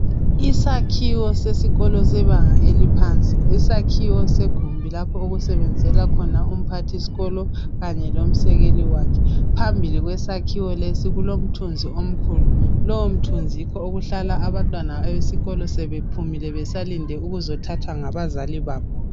Isakhiwo sesikolo sebanga eliphansi. Isakhiwo segumbi lapho okusebenzela khona umphathisikolo kanye lomsekeli wakhe. Phambili kwesakhiwo lesi kulomthunzi omkhulu. Lowomthunzi yikho okuhlala abantwana besikolo sebephumile besalinde ukuzothathwa ngabazali babo.